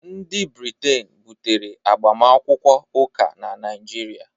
ndị Briten butere agbamakwụkwọ ụka na Naịjirịa